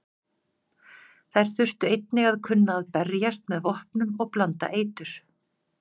Þær þurftu einnig að kunna berjast með vopnum og blanda eitur.